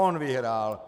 On vyhrál.